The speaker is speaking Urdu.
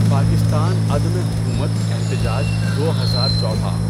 پاکستان عدمِ حکومت احتجاج دو ہزار چودہ